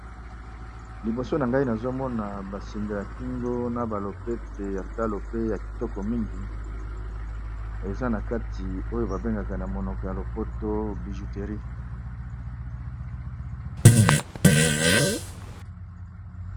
Liboso na ngai nazomona basinga ya kingo na balopete ya talo pe ya kitoko mingi, eza na kati oyo babengaka na monoko ya lopoto bijouterie.